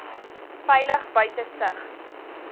veilig buite sig